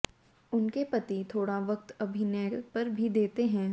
उनके पति थोड़ा वक्त अभिनय पर भी देते हैं